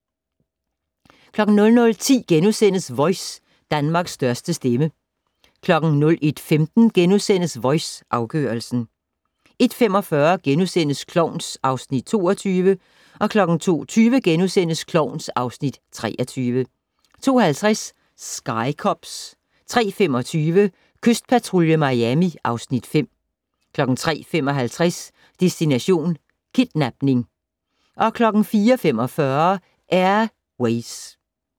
00:10: Voice - Danmarks største stemme * 01:15: Voice - afgørelsen * 01:45: Klovn (Afs. 22)* 02:20: Klovn (Afs. 23)* 02:50: Sky Cops 03:25: Kystpatrulje Miami (Afs. 5) 03:55: Destination: Kidnapning 04:45: Air Ways